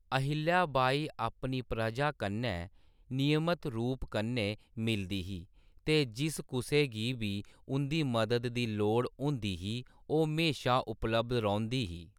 अहिल्या बाई अपनी प्रजा कन्नै नियमत रूप कन्नै मिलदी ही, ते जिस कुसै गी बी उं'दी मदद दी लोड़ होंदी ही, ओह् म्हेशा उपलब्ध रौंह्‌दी ही।